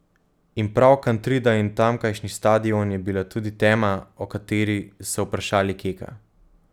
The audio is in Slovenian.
In prav Kantrida in tamkajšnji stadion je bila tudi tema, o kateri so vprašali Keka.